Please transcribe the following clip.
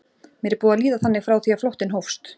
Mér er búið að líða þannig frá því að flóttinn hófst.